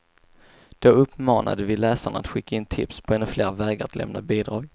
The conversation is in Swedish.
Då uppmanade vi läsarna att skicka in tips på ännu fler vägar att lämna bidrag.